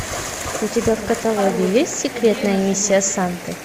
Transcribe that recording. у тебя в каталоге есть секретная миссия санты